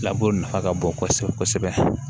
nafa ka bon kosɛbɛ kosɛbɛ